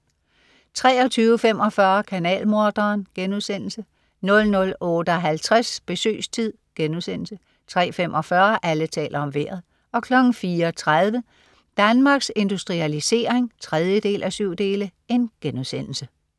23.45 Kanalmorderen* 00.58 Besøgstid* 03.45 Alle taler om Vejret 04.30 Danmarks Industrialisering 3:7*